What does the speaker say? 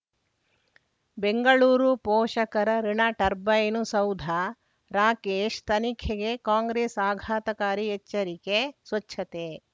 ಬೆಂಗಳೂರು ಪೋಷಕರಋಣ ಟರ್ಬೈನು ಸೌಧ ರಾಕೇಶ್ ತನಿಖೆಗೆ ಕಾಂಗ್ರೆಸ್ ಆಘಾತಕಾರಿ ಎಚ್ಚರಿಕೆ ಸ್ವಚ್ಛತೆ